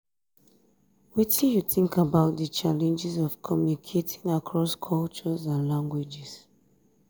wetin you think about di challenges of communicating across cultures and languages?